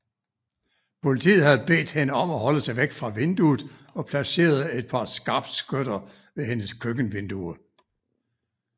Politiet havde bedt hende om at holde sig væk fra vinduet og placerede et par skarpskytter ved hendes køkkenvindue